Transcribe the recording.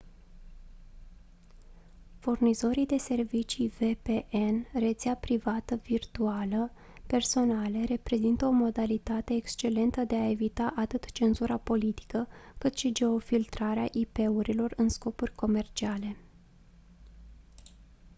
furnizorii de servicii vpn rețea privată virtuală personale reprezintă o modalitate excelentă de a evita atât cenzura politică cât și geofiltrarea ip-urilor în scopuri comerciale